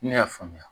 Ne y'a faamuya